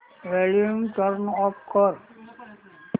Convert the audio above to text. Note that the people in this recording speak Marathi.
वॉल्यूम टर्न ऑफ कर